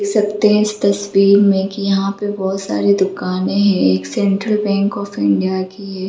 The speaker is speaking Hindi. इ सकतें हैं इस तस्वीर मे की यहाँ पे बहुत सारी दुकने एक सेंट्रल बैंक ऑफ इंडिया की है।